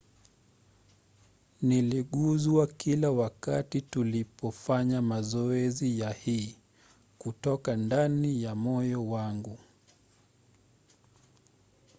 "niliguzwa kila wakati tulipofanya mazoezi ya hii kutoka ndani ya moyo wangu.